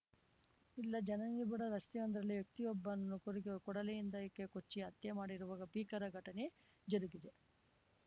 ಇಲ್ಲ ಜನನಿಬಿಡ ರಸ್ತೆಯೊಂದರಲ್ಲಿ ವ್ಯಕ್ತಿಯೊಬ್ಬನನ್ನು ಕೊಡಗಿ ಕೊಡಲಿಯಿಂದ ಕೊಚ್ಚಿ ಹತ್ಯೆ ಮಾಡಿರುವ ಭೀಕರ ಘಟನೆ ಜರುಗಿದೆ